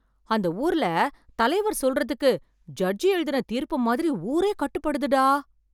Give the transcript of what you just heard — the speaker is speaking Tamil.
அந்த ஊர்ல தலைவர் சொல்றதுக்கு ஜட்ஜ் எழுதின தீர்ப்பு மாதிரி ஊரே கட்டுப்படுதுடா.